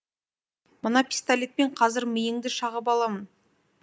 мына пистолетпен қазір миыңды шағып аламын